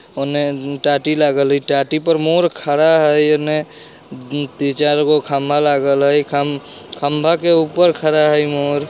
उने टाटी लागल हय टाटी पर मोर खड़ा हय एने उम्म तीन चार गो खंभा लागल हय खम खंभा के ऊपर खड़ा हय मोर।